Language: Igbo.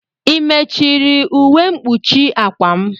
I mechuru ụwe mkpuchi akwa m?